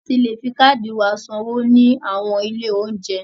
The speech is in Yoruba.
A ti le fi káàdì wa san owó ní àwọn ilé óúnjẹ.